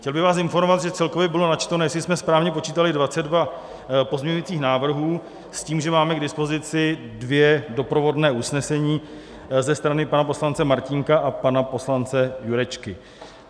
Chtěl bych vás informovat, že celkově bylo načteno, jestli jsme správně počítali, 22 pozměňujících návrhů s tím, že máme k dispozici dvě doprovodná usnesení ze strany pana poslance Martínka a pana poslance Jurečky.